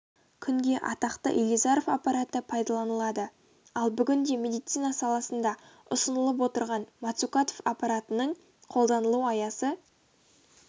күнге атақты илизаров аппараты пайдаланылады ал бүгінде медицина саласында ұсынылып отырған мацукатов аппаратының қолданылу аясы